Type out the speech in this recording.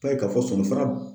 i b'a ye k'a fɔ sɔni